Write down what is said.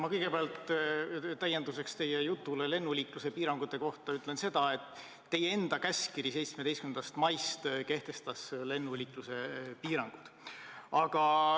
Ma kõigepealt täienduseks teie jutule lennuliikluse piirangute kohta ütlen seda, et teie enda käskkiri 17. maist kehtestas lennuliikluse piirangud.